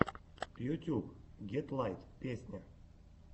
ютьюб гетлайт песня